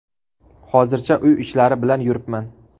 Hozircha uy ishlari bilan yuribman.